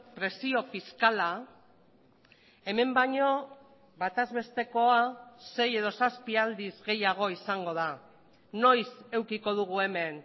presio fiskala hemen baino batazbestekoa sei edo zazpi aldiz gehiago izango da noiz edukiko dugu hemen